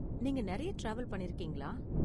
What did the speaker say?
நீங்க நிறைய டிராவல் பண்ணிருக்கீங்களா?